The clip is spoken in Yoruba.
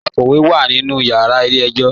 Àkọ́wé wá nínú yàrà ilẹ̀-ẹ̀jọ̀.